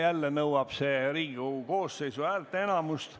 Jälle nõuab see Riigikogu koosseisu häälteenamust.